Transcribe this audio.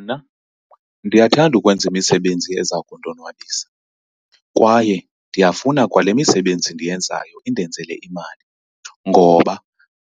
Mna ndiyathanda ukwenza imisebenzi eza kundonwabisa kwaye ndiyafuna kwale misebenzi ndiyenzayo indenzele imali, ngoba